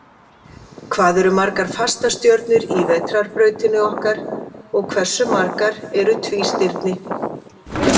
Hvað eru margar fastastjörnur í Vetrarbrautinni okkar, og hversu margar eru tvístirni?